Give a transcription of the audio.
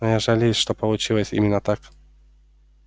но я жалею что получилось именно так